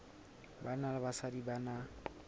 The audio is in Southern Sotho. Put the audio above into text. banna le basadi ba na